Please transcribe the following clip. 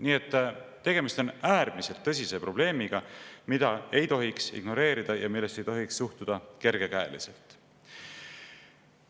Nii et tegemist on äärmiselt tõsise probleemiga, mida ei tohiks ignoreerida ja millesse ei tohiks suhtuda kergekäeliselt.